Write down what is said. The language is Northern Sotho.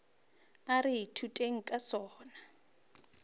a re ithuteng ka sona